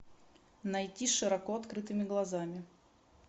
найти с широко открытыми глазами